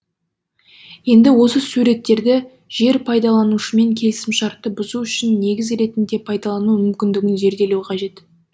енді осы суреттерді жер пайдаланушымен келісімшартты бұзу үшін негіз ретінде пайдалану мүмкіндігін зерделеу қажет